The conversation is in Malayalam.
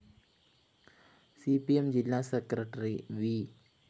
സി പി എം ജില്ലാ സെക്രട്ടറി വി